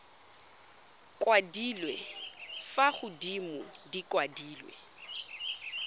kwadilwe fa godimo di kwadilwe